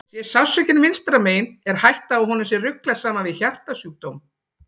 Sé sársaukinn vinstra megin er hætta á að honum sé ruglað saman við hjartasjúkdóm.